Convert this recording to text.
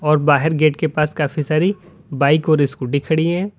और बाहेर गेट के पास काफी सारी बाइक और स्कूटी खड़ी है।